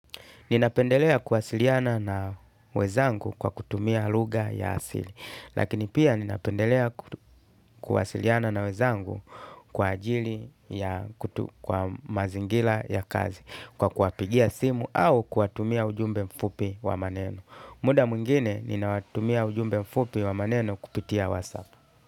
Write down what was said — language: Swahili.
Nina pendelea kuwasiliana na wenzangu kwa kutumia lugha ya asili, lakini pia nina pendelea kuwasiliana na wenzangu kwa ajili ya mazingira ya kazi, kwa kuwapigia simu au kuwatumia ujumbe mfupi wa maneno. Muda mwingine, ninawatumia ujumbe mfupi wa maneno kupitia WhatsApp.